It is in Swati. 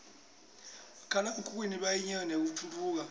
bomakhala khukhwini bayincenye yetentfutfuko